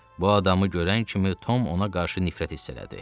Bu adamı görən kimi Tom ona qarşı nifrət hiss elədi.